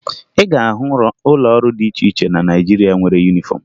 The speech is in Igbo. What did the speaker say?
Ị ga-ahụ ụlọ ọrụ dị iche iche na Naịjirịa nwere yunifọmụ